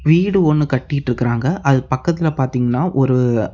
வீடு ஒன்னு கட்டிட்ருக்கறாங்க அதுக்கு பக்கத்துல பாத்தீங்கனா ஒரு.